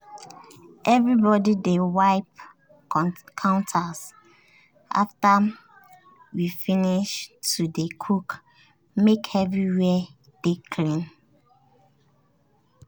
everybody dey wipe counters after we finish to dey cook make everywhere dey clean.